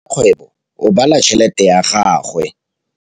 Rakgwêbô o bala tšheletê ya gagwe.